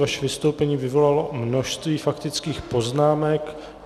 Vaše vystoupení vyvolalo množství faktických poznámek.